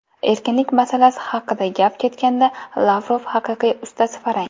Erkinlik masalasi haqida gap ketganda Lavrov haqiqiy ustasi farang.